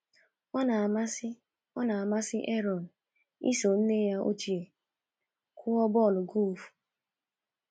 Ọ na-amasị Ọ na-amasị Aaron iso nne ya ochie kụọ bọl golf.